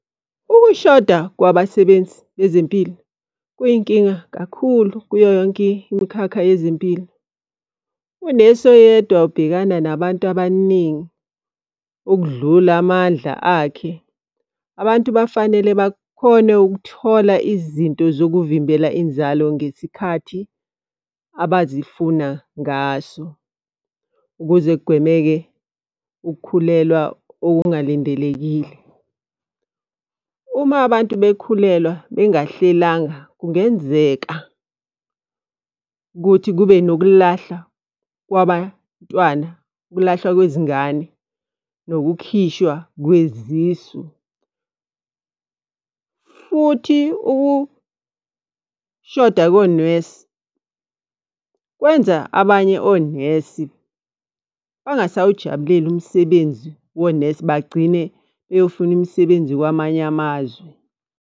Ukushoda kwabasebenzi bezempilo kuyinkinga kakhulu kuyo yonke imikhakha yezempilo. Unesi oyedwa ubhekana nabantu abaningi ukudlula amandla akhe. Abantu bafanele bakhone ukuthola izinto zokuvimbela inzalo ngesikhathi abazifuna ngaso. Ukuze kugwemeke ukukhulelwa okungalindelekile. Uma abantu bekhulelwa bengahlelanga Kungenzeka ukuthi kube nokulahlwa kwabantwana, ukulahlwa kwezingane nokukhishwa kwezisu. Futhi ukushoda konesi kwenza abanye onesi bangasawujabuleli umsebenzi wonesi bagcine beyofuna imisebenzi kwamanye amazwe.